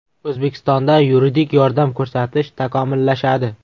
O‘zbekistonda yuridik yordam ko‘rsatish takomillashadi.